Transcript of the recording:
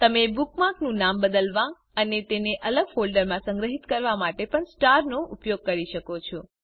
તમે બુકમાર્ક નું નામ બદલવા અને તેને અલગ ફોલ્ડરમાં સંગ્રહિત કરવા માટે પણ સ્ટાર નો ઉપયોગ કરી શકો છો